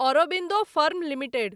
Aurobindo firm limited